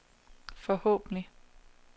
forhåbentlig